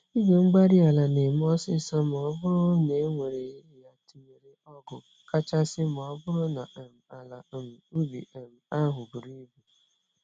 igwe-mgbárí-ala némè' ọsịsọ m'ọbụrụ newere ya tụnyere ọgụ, kachasị m'ọbụrụ na um àlà um ubi um ahụ buru ibu.